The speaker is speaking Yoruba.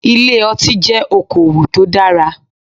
Ilé ọtí jẹ́ okowò tó dára.